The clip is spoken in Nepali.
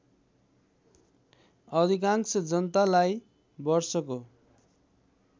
अधिकांश जनतालाई वर्षको